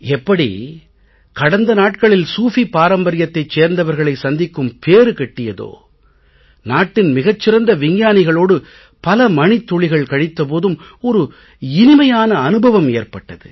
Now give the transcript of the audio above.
எப்படி கடந்த நாட்களில் சூஃபி பாரம்பர்யத்தைச் சேர்ந்தவர்களை சந்திக்கும் பேறு கிட்டியதோ நாட்டின் மிகச் சிறந்த விஞ்ஞானிகளோடு பல மணித் துணிகள் கழித்த போதும் ஒரு இனிமையான அனுபவம் ஏற்பட்டது